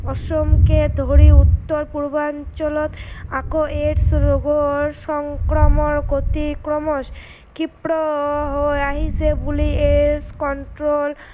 অসমকে ধৰি উত্তৰ পূৰ্বাঞ্চলত আকৌ AIDS ৰোগৰ সংক্ৰামন গতি ক্ৰমাত খীপ্ৰ হৈ আহিছে বুলিয়ে control